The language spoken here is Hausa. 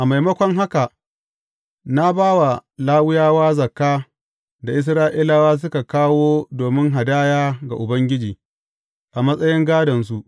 A maimako haka, na ba wa Lawiyawa zakka da Isra’ilawa suka kawo domin hadaya ga Ubangiji, a matsayin gādonsu.